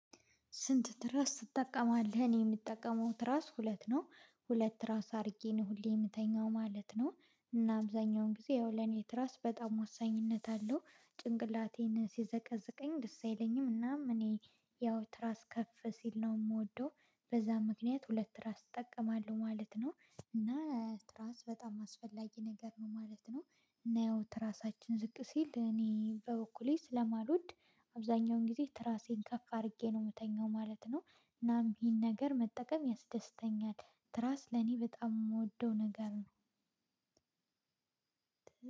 ስንት ትራስ ትጠቀማለህ እኔ የምጠቀመው ትራስ ሁለት ነው ሁለት ትራስ አድርጌ ነው ሁሌ የምተኛው ማለት ነው እና አብዛኛውን ጊዜ ይኸው ለኔ ትራስ በጣም ወሳኝነት አለው ጭንቅላቴን ሲዘቀዝቀኝ ደስ አይለኝም እናም እኔ ያው ትራስ ከፍ ሲል ነው የምወደው በዛ ምክንያት ሁለት ትራስ እጠቀማለሁ ማለት ነው እና ራስ በጣም አስፈላጊ ነገር ነው ማለት ነው እና ያው ትራሳችን ዝቅ ሲል እኔ በበኩሌ ስለማልወድ አብዛኛውን ጊዜ ትራሴን ከፍ አድርጌ ነው የምተኛው ማለት ነው እናም ይህን ነገር መጠቀም ያስደስተኛል። ትራስ ለኔ በጣም የምወደው ነገር ነው።